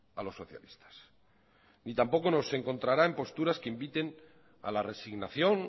a los socialistas y tampoco nos encontrará en posturas que inviten a la resignación